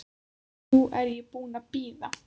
Nú er ég búin að bíða.